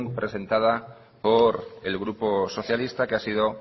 presentada por el grupo socialista que ha sido